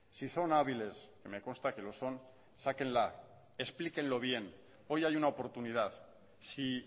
si son hábiles y me consta que lo son sáquenla explíquenlo bien hoy hay una oportunidad si